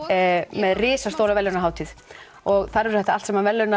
með risastóra verðlaunahátíð og þar verður þetta allt saman verðlaunað